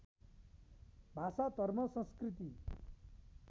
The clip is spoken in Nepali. भाषा धर्म संस्कृति